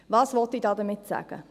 Was will ich damit sagen?